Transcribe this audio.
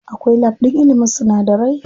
Akwai lab ɗin ilimin sunadarai.